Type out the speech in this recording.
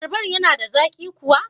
Abarban yana da zaƙi kuwa?